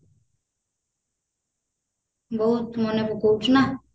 ବହୁତ ମନେ ପକଉଛୁ ନା